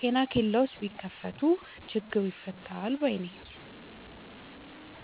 ጤና ኬላዎችን ቢከፋት ችግሩ ይፈታል ባይነኝ።